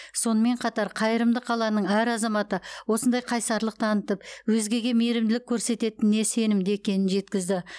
сонымен қатар қайырымды қаланың әр азаматы осындай қайсарлық танытып өзгеге мейірімділік көрсететініне сенімді екенін жеткізді